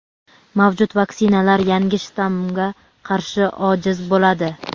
Mavjud vaksinalar yangi shtammga qarshi ojiz bo‘ladi.